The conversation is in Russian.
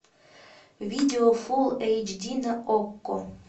видео фулл эйч ди на окко